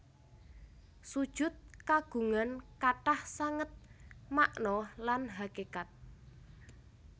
Sujud kagungan kathah sanget makna lan hakékat